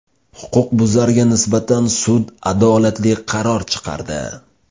Huquqbuzarga nisbatan sud adolatli qaror chiqardi.